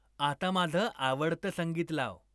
आता माझं आवडतं संगीत लाव.